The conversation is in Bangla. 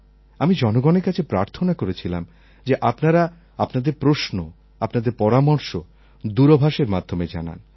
আমি জনগণের কাছে প্রার্থনা করেছিলাম যে আপনারা আপনাদের প্রশ্ন আপনাদের পরামর্শ দূরভাষের মাধ্যমে জানান